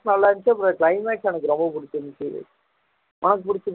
நல்லா இருந்துச்சு அப்புறம் climax தான் எனக்கு ரொம்ப பிடிச்சுருந்துச்சு, உனக்கு